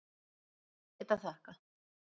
Ekkert að þakka